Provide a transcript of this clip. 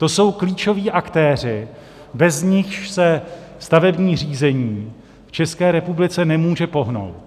To jsou klíčoví aktéři, bez nichž se stavební řízení v České republice nemůže pohnout.